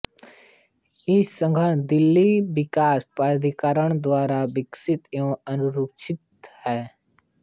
इस उद्यान दिल्ली विकास प्राधिकरण द्वारा विकसित एवं अनुरक्षित है